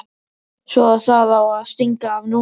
Svo að það á að stinga af núna!